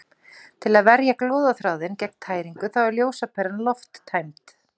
Til að verja glóðarþráðinn gegn tæringu þá er ljósaperan lofttæmd.